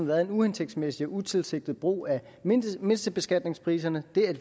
været en uhensigtsmæssig utilsigtet brug af mindstebeskatningspriserne